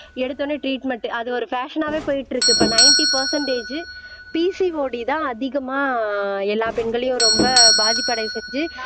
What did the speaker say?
எடுத்தவுடனே டிரீட்மென்ட் அது ஒரு பேஷனாவே போயிட்டு இருக்கு இப்ப நைன்ட்டி பர்சண்ட்டேஜ் பி PCOD தான் அதிகமா எல்லா பெண்களையும் ரொம்ப பாதிப்படைய செஞ்சு